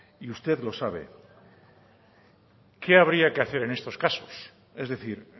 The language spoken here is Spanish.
y usted lo sabe qué habría que hacer en estos casos es decir